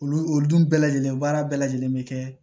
Olu olu dun bɛɛ lajɛlen baara bɛɛ lajɛlen bɛ kɛ